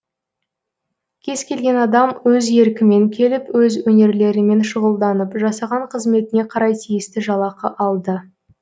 кез келген адам өз еркімен келіп өз өнерлерімен шұғылданып жасаған қызметіне қарай тиісті жалақы алды